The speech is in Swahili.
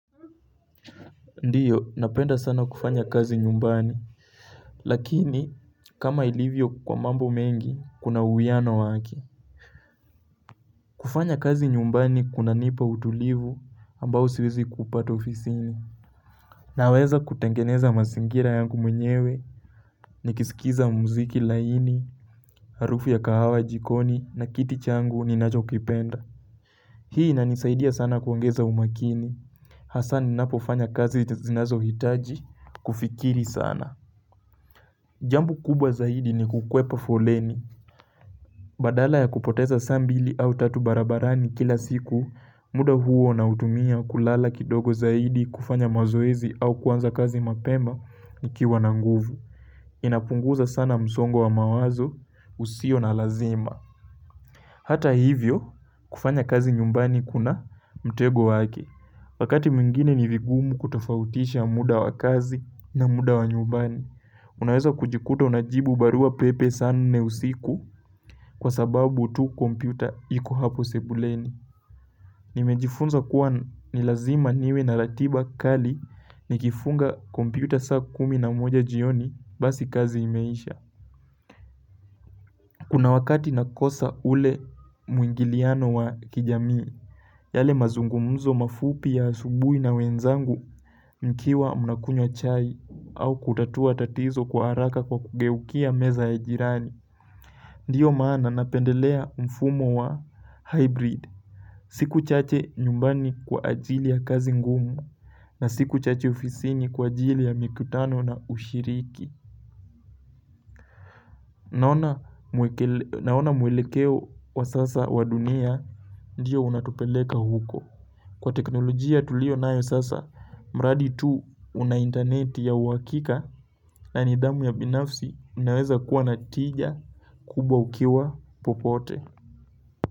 Ndiyo, napenda sana kufanya kazi nyumbani, lakini kama ilivyo kwa mambo mengi, kuna uwiano wake. Kufanya kazi nyumbani kunanipa utulivu ambao siwezi kuupata ofisini. Naweza kutengeneza mazingira yangu mwenyewe, nikisikiza muziki laini, harufu ya kahawa jikoni na kiti changu ninacho kipenda. Hii inanisaidia sana kuongeza umakini. Hasa ninapofanya kazi zinazo hitaji kufikiri sana. Jambo kubwa zaidi ni kukwepa foleni. Badala ya kupoteza saa mbili au tatu barabarani kila siku, muda huo nautumia kulala kidogo zaidi kufanya mazoezi au kuanza kazi mapema nikiwa na nguvu. Inapunguza sana msongo wa mawazo usio na lazima. Hata hivyo, kufanya kazi nyumbani kuna mtego wake. Wakati mwingine ni vigumu kutofautisha muda wa kazi na muda wa nyumbani. Unaweza kujikuta unajibu barua pepe saa nne usiku kwa sababu tu kompyuta iko tu hapo sebuleni. Nimejifunza kuwa ni lazima niwe na ratiba kali ni kifunga kompyuta saa kumi na moja jioni basi kazi imeisha. Kuna wakati nakosa ule muingiliano wa kijamii, yale mazungumuzo mafupi ya asubui na wenzangu mkiwa mnakunya chai au kutatua tatizo kwa haraka kwa kugeukia meza ya jirani. Ndiyo maana napendelea mfumo wa hybrid siku chache nyumbani kwa ajili ya kazi ngumu na siku chache ofisini kwa ajili ya mikutano na ushiriki Naona mwelekeo wa sasa wa dunia Ndiyo unatupeleka huko Kwa teknolojia tulio nayo sasa mradi tu una internet ya uakika na nidhamu ya binafsi unaweza kuwa natija kubwa ukiwa popote.